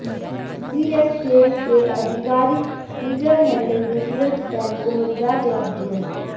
CSK के आधिकारिक Twitter handle ने तुरंत फैन को मजेदार जवाब दिया